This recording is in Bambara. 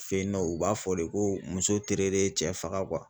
Fe yen nɔ u b'a fɔ de ko muso tere de ye cɛ faga